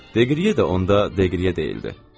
Deqriye də onda Deqriye deyildi.